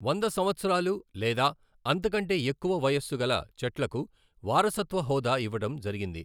వంద సంవత్సరాలు లేదా అంతకంటే ఎక్కువ వయస్సు గల చెట్లకు వారసత్వ హోదా ఇవ్వడం జరిగింది.